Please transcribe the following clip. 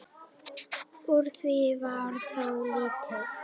Úr því varð þó lítið.